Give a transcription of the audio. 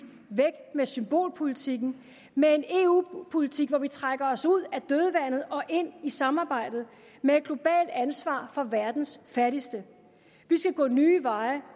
væk med symbolpolitikken med en eu politik hvor vi trækker os ud af dødvandet og ind i samarbejdet med et globalt ansvar for verdens fattigste vi skal gå nye veje